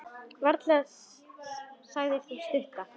Varla, sagði sú stutta.